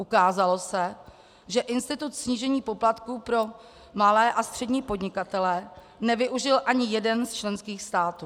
Ukázalo se, že institut snížení poplatku pro malé a střední podnikatele nevyužil ani jeden z členských států.